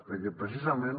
perquè precisament